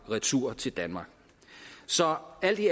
retur til danmark så alt i